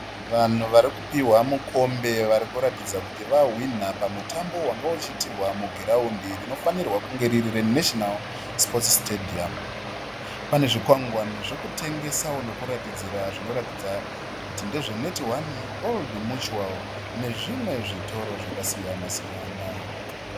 Vanhu vari kupiwa mukombe varikuratidza kuti vahwina pamutambo wange uchiitirwa mug iraundi rinofanirwa kunge riri National Sports Stadium. Pane zvikwangwani zvekutengesawo nokuratidzira zvinoratidza kuti ndezveNetone, Old Mutual nezvimwe zvitoro zvakasiyana siyana.